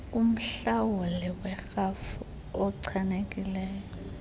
kumhlawuli werhafu ochanekileyo